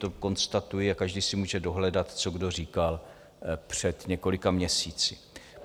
To konstatuji a každý si může dohledat, co kdo říkal před několika měsíci.